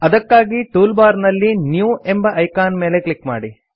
ಅದಕ್ಕಾಗಿ tool bar ನಲ್ಲಿ new ಎಂಬ ಐಕಾನ್ ಮೇಲೆ ಕ್ಲಿಕ್ ಮಾಡಿ